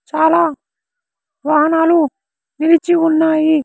చాలా వాహనాలు నిలిచి ఉన్నాయి.